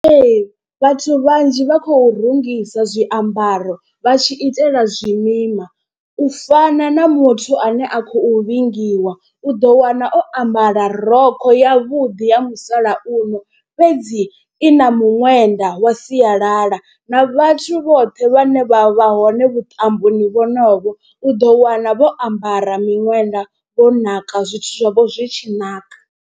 Ee vhathu vhanzhi vha khou rungisa zwiambaro vha tshi itela zwimima. U fana na muthu ane a khou vhingiwa u ḓo wana o ambara rokho yavhuḓi ya musalauno fhedzi i na miṅwenda wa sialala. Na vhathu vhoṱhe vhane vha vha hone vhuṱamboni vhonovho u ḓo wana vho ambara miṅwenda vho naka zwithu zwavho zwi tshi naka.